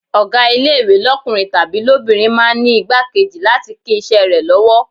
Ọ̀gá ilé-ìwé lọ́kùnrin tàbí lóbìnrin máa ń ní ìgbákejì láti lè kín iṣẹ́ rẹ lọ́wọ́.